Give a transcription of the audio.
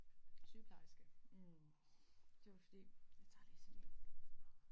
Sygeplejerske hm det var fordi jeg tager lige sådan en